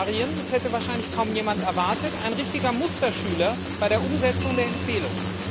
Bulgarien, das hätte wahrscheinlich kaum jemand erwartet ein richtiger Musterschüler bei der Umsetzung der Empfehlung.